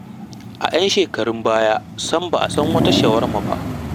A 'yan shekarun baya sam ba a san wata shawarma ba.